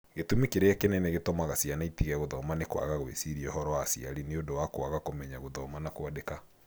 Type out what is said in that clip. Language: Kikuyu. Gĩtũmi kĩrĩa kĩnene gĩtũmaga ciana itige gũthoma nĩ kwaga gwĩciria ũhoro wa aciari nĩ ũndũ wa kwaga kũmenya gũthoma na kwandĩka.